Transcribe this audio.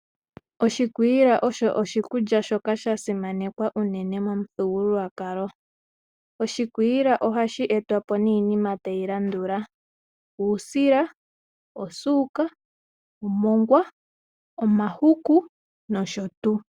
Oshikwiila osho oshikulya shoka shasimanekwa unene momuthigululwakalo. Oshikwiila ohashi etwa po niinima tayi landula: uusila, omongwa, osuuka ,omahuku nosho tuu.